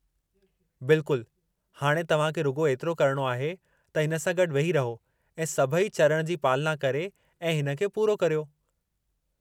बिल्कुलु! हाणे तव्हां खे रुॻो एतिरो करणो आहे त हिन सां गॾु वेही रहो ऐं सभई चरण जी पालना करे ऐं हिन खे पूरो करियो।